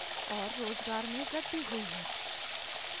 और रोज़गार में वृद्धि हुई है